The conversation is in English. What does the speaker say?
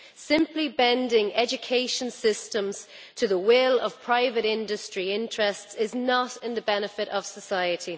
Simply bending education systems to the will of private industry interests is not to the benefit of society.